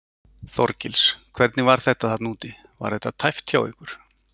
Þorgils: Hvernig var þetta þarna úti, var þetta tæpt hjá ykkur?